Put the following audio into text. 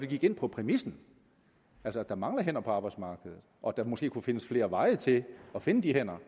gik ind på præmissen altså at der mangler hænder på arbejdsmarkedet og at der måske kunne findes flere veje til at finde de hænder